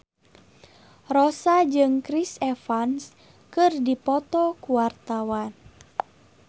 Rossa jeung Chris Evans keur dipoto ku wartawan